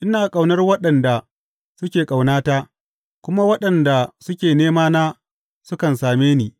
Ina ƙaunar waɗanda suke ƙaunata, kuma waɗanda suke nemana sukan same ni.